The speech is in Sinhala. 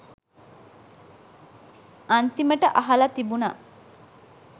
අන්තිමට අහල තිබුන